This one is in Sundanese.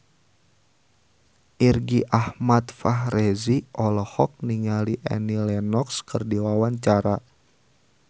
Irgi Ahmad Fahrezi olohok ningali Annie Lenox keur diwawancara